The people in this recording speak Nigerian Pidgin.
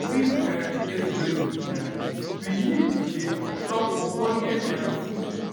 to fit um age gracefully um we need to dey chop ogbonge um food